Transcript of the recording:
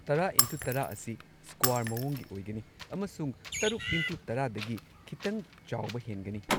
꯱꯰x꯱꯰ ꯑꯁꯤ ꯁ꯭ꯀ꯭ꯋꯥꯔ ꯃꯑꯣꯡꯒꯤ ꯑꯣꯏꯒꯅꯤ ꯑꯃꯁꯨꯡ ꯶x꯱꯰ ꯗꯒꯤ ꯈꯤꯇꯪ ꯆꯥꯎꯕ ꯍꯦꯟꯒꯅꯤ꯫